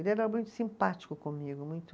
Ele era muito simpático comigo, muito